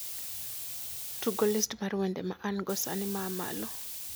tugo list mar wende ma an go sani ma a malo